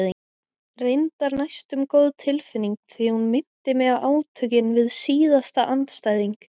Reyndar næstum góð tilfinning því hún minnti mig á átökin við síðasta andstæðing.